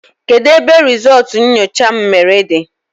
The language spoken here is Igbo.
Kedụ ebe rizultú nyocha m mere dị?